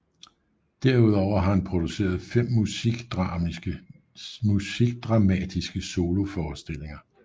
Derudover har han produceret 5 musikdramatiske soloforestillinger